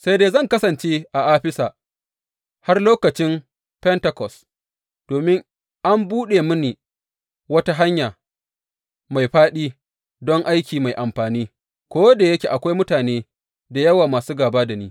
Sai dai zan kasance a Afisa har lokacin Fentekos, domin an buɗe mini wata hanya mai fāɗi don aiki mai amfani, ko da yake akwai mutane da yawa masu gāba da ni.